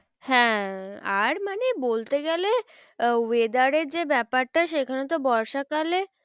হ্যাঁ আর মানে বলতে গেলে আহ weather এর যে ব্যাপারটা সেখানে তো বর্ষাকালে